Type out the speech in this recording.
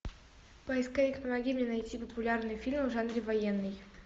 поисковик помоги мне найти популярный фильм в жанре военный